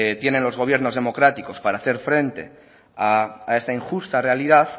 tienen los gobiernos democráticos para hacer frente a esta injusta realidad